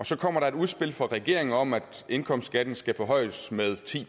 så kommer et udspil fra regeringen om at indkomstskatten skal forhøjes med ti